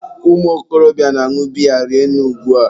ụmụ okorobịa na-añụ biya rinne ugba.